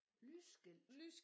Lysskilt